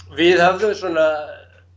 við höfðum svona